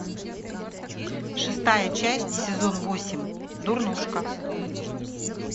шестая часть сезон восемь дурнушка